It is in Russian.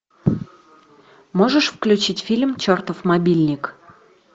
можешь включить фильм чертов мобильник